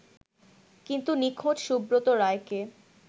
কিন্তু নিখোঁজ সুব্রত রায়কে